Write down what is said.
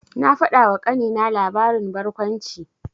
Na faɗawa ƙanina labarin barkwanci.